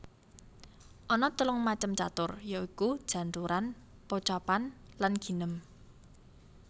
Ana telung macem catur ya iku janturan pocapan lan ginem